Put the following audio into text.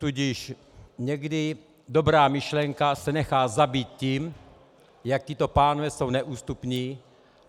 Tudíž někdy dobrá myšlenka se nechá zabít tím, jak tito pánové jsou neústupní.